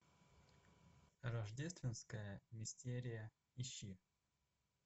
рождественская мистерия ищи